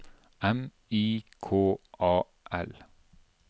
M I K A L